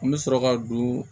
An bɛ sɔrɔ ka don